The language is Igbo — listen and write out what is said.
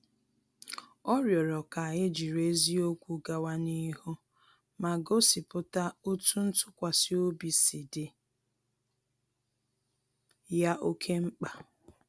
Ọ rịọrọ ka e jiri eziokwu gawa n’ihu ma gosipụta otú ntụkwasị obi si dị ya oke mkpa